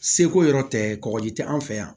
Seko yɔrɔ tɛ kɔkɔji tɛ an fɛ yan